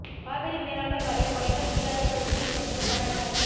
காவிரி மேலாண்மை வாரியம் அமைக்க முடியாது என உச்சநீதிமன்றத்தில் கர்நாடக அரசு